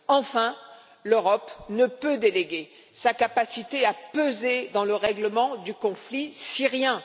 Enfin, l'Europe ne peut déléguer sa capacité à peser dans le règlement du conflit syrien.